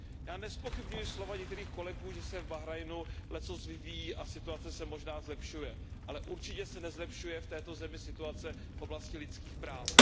Já nezpochybňuji slova některých kolegů, že se v Bahrajnu lecos vyvíjí a situace se možná zlepšuje, ale určitě se nezlepšuje v této zemi situace v oblasti lidských práv.